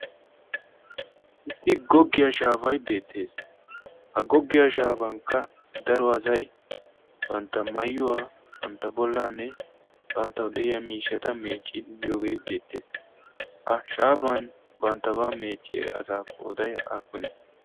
issi goggiyaa shaafay beettees ha goggiyaa shaafankka daro azai bantta mayyuwaa bantta bollaanne bantta de'iya miishshata meecciidi giyoogee beettees ha shaafan banttabaa meecciidi asaa qooday aafune